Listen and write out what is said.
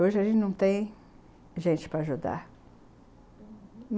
Hoje a gente não tem gente para ajudar, uhum.